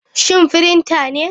Shin printer ne?